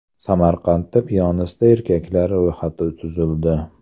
Samarqandda piyonista erkaklar ro‘yxati tuzildi.